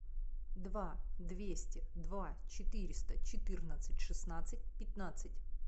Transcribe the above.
два двести два четыреста четырнадцать шестнадцать пятнадцать